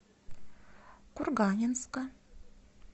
курганинска